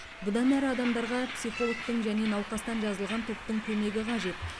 бұдан әрі адамдарға психологтың және науқастан жазылған топтың көмегі қажет